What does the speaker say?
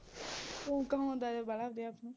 ਊਂ ਕਹਾਉਂਦਾ ਜਿਹਾ ਵਾਹਲਾ ਆਪਦੇ ਆਪ ਨੂੰ